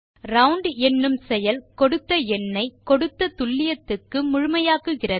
round என்னும் செயல் கொடுத்த எண்ணை கொடுத்த துல்லியத்துக்கு முழுமையாக்குகிறது